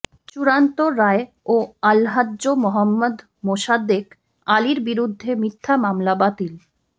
চূড়ান্ত রায়েও আলহাজ্ব মোহাম্মদ মোসাদ্দেক আলীর বিরুদ্ধে মিথ্যা মামলা বাতিল